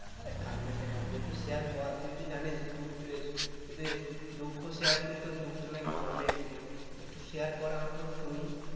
আরে কান্না কেন আসবে একটু share কর তুই তো জানিস দুঃখ share করে তোর দুঃখটা নাকি কমে একটু একটু share কর আমাকেও শুনি